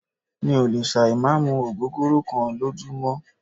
Mí ò lè ṣà ì má mú ògógóró kán lójúmọ́.